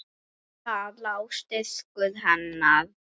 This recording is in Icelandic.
Þar lá styrkur hennar.